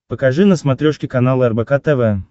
покажи на смотрешке канал рбк тв